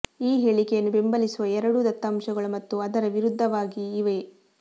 ಈ ಹೇಳಿಕೆಯನ್ನು ಬೆಂಬಲಿಸುವ ಎರಡೂ ದತ್ತಾಂಶಗಳು ಮತ್ತು ಅದರ ವಿರುದ್ಧವಾಗಿ ಇವೆ